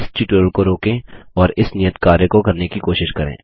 इस ट्यूटोरियल को रोकें और इस नियत कार्य को करने की कोशिश करें